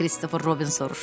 Christopher Robin soruşdu.